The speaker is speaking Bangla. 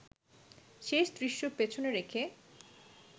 শেষ দৃশ্য পেছনে রেখে